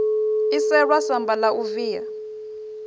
iselwa samba la u via